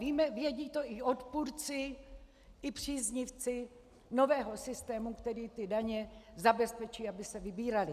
Vědí to i odpůrci i příznivci nového systému, který ty daně zabezpečí, aby se vybíraly.